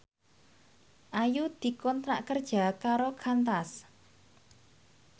Ayu dikontrak kerja karo Qantas